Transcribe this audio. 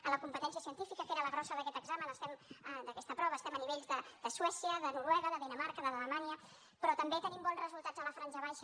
en la competència científica que era la grossa d’aquest examen d’aquesta prova estem a nivells de suècia de noruega de dinamarca d’alemanya però també tenim bons resultats a la franja baixa